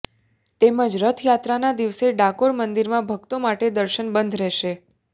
તેમજ રથયાત્રાના દિવસે ડાકોર મંદિરમાં ભક્તો માટે દર્શન બંધ રહેશે